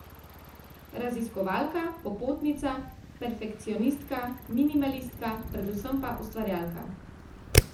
Raziskovalka, popotnica, perfekcionistka, minimalistka, predvsem pa ustvarjalka.